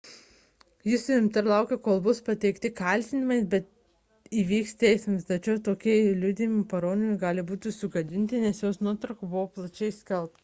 ji suimta ir laukia kol bus pateikti kaltinimai bei vyks teismas tačiau bet kokie liudytojų parodymai gali būti sugadinti nes jos nuotrauka buvo plačiai paskelbta